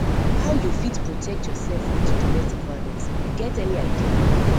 how you fit protect yourself from di domestic violence you get any idea